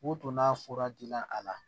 O donna fura dila a la